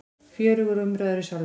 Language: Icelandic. Fjörugur umræður í Salnum